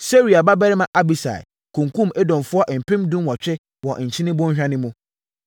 Seruia babarima Abisai kunkumm Edomfoɔ mpem dunwɔtwe wɔ Nkyene Bɔnhwa no mu.